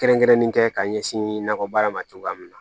Kɛrɛnkɛrɛnnen kɛ ka ɲɛsin nakɔ baara ma cogoya min na